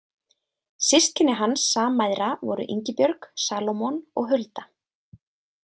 Systkini hans sammæðra voru Ingibjörg, Salómon og Hulda.